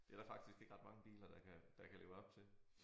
Det der faktisk ikke ret mange biler der kan der kan leve op til